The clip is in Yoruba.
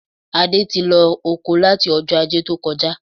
Adé ti lọ oko láti Ọjọ́ Ajé tó kọjá